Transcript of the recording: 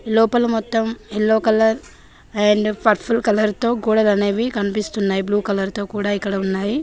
లోపల మొత్తం yellow colour and purple colour తో గోడలు అనేవి కనిపిస్తున్నాయి బ్లూ కలర్ తో కూడా ఇక్కడ ఉన్నాయి.